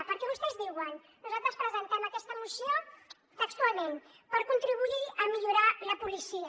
perquè vostès diuen nosaltres presentem aquesta moció textualment per contribuir a millorar la policia